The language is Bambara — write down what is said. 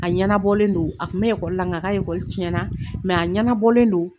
A ɲɛnabɔlen don, a tun bɛ ekɔli la nka a ka ekɔli tiɲɛna, mɛ a ɲɛnabɔlen don!